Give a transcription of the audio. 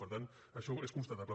per tant això és constatable